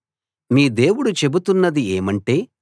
మీ దేవుడు చెబుతున్నది ఏమంటే